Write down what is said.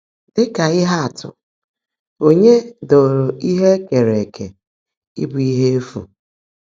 Dị́ kà íhe ạ́tụ́, Ònyeé dòòró íhe è keèré ékè íbụ́ íhe éfú?